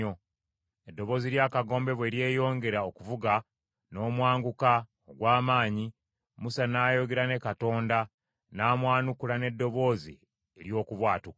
Eddoboozi ly’akagombe bwe lyeyongera okuvuga n’omwanguka ogw’amaanyi, Musa n’ayogera, ne Katonda n’amwanukula n’eddoboozi ery’okubwatuka.